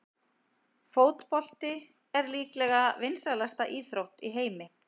Fótbolti er líklega vinsælasta íþrótt í heimi.